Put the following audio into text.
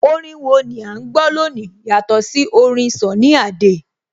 Orin wo ni à ń gbọ́ lónìí yàtọ̀ sí orin Sunny Adé?